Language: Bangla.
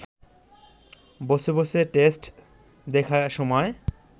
বসে বসে টেস্ট দেখার সময়